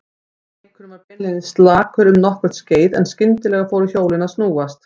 Leikurinn var beinlínis slakur um nokkurt skeið en skyndilega fóru hjólin að snúast.